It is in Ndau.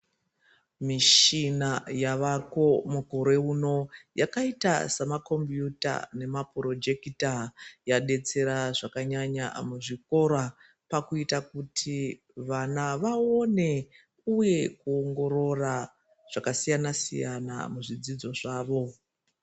Mishina yaveko mukore uno yakaita semakombiyuta nemapurojekita yadetsera zvakanyanya muzvikora pakuita kuti vana vaone uye kuongorora zvakasiyana siyana muzvidzidzo zvavo.